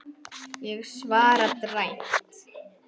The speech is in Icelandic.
Ég svara dræmt.